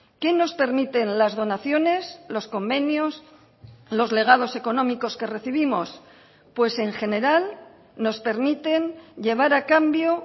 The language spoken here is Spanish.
qué nos permiten las donaciones los convenios los legados económicos que recibimos pues en general nos permiten llevar a cambio